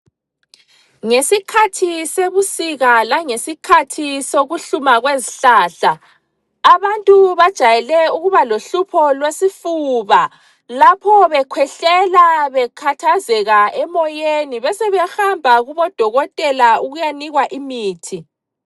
Ngesikhathi sebusika langesikhathi sokuhluma kwezihlahla abantu bajayele ukuba lohlupho lwesifuba, lapho bekhwehlela bekhathazeka emoyeni. Besebehamba kubodokotela ukuyanikwa imithi.